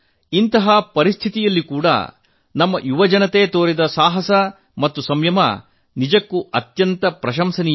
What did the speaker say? ಇಂತಹ ಪರಿಸ್ಥಿತಿಯಲ್ಲಿ ಕೂಡಾ ನಮ್ಮ ಯುವಜನತೆ ತೋರಿದ ಶೌರ್ಯ ಮತ್ತು ಸಂಯಮ ನಿಜಕ್ಕೂ ಶ್ಲಾಘನೀಯ